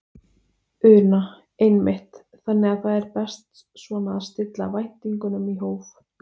Una: Einmitt, þannig að það er best svona að stilla væntingunum í hóf?